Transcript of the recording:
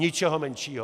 Ničeho menšího.